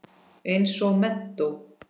Eins og menntó.